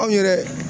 Anw yɛrɛ